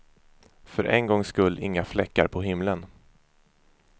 För en gångs skull inga fläckar på himlen.